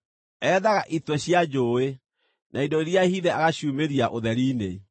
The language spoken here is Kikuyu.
Ethaga itwe cia njũũĩ, na indo iria hithe agaciumĩria ũtheri-inĩ.